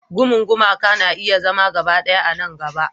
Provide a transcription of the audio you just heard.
Gumun gumaka na iya zama gaba ɗaya a nan gaba.